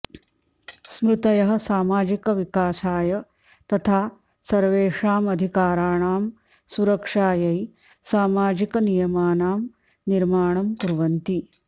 स्मृतयः सामाजिकविकाशाय तथा सर्वेषामधिकाराणां सुरक्षायै सामाजिकनियमानां निर्माणं कुर्वन्ति